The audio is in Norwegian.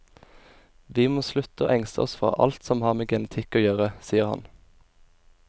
Vi må slutte å engste oss for alt som har med genetikk å gjøre, sier han.